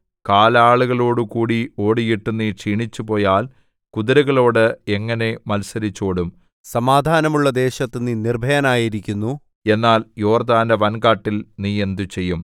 കാലാളുകളോടുകൂടി ഓടിയിട്ട് നീ ക്ഷീണിച്ചുപോയാൽ കുതിരകളോട് എങ്ങനെ മത്സരിച്ചോടും സമാധാനമുള്ള ദേശത്ത് നീ നിർഭയനായിരിക്കുന്നു എന്നാൽ യോർദ്ദാന്റെ വൻകാട്ടിൽ നീ എന്ത് ചെയ്യും